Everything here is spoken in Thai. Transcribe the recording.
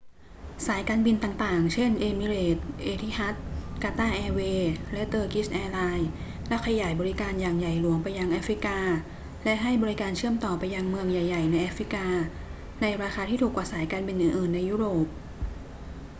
สายการบินต่าง ๆ เช่น เอมิเรตส์ เอทิฮัด กาตาร์แอร์เวย์ และเตอร์กิชแอร์ไลน์ ได้ขยายบริการอย่างใหญ่หลวงไปยังแอฟริกา และให้บริการเชื่อมต่อไปยังเมืองใหญ่ ๆ ในแอฟริกาในราคาที่ถูกกว่าสายการบินอื่น ๆ ในยุโรป